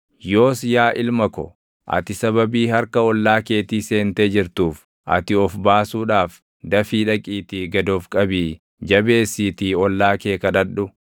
yoos yaa ilma ko, // ati sababii harka ollaa keetii seentee jirtuuf ati of baasuudhaaf dafii dhaqiitii gad of qabii jabeessiitii ollaa kee kadhadhu!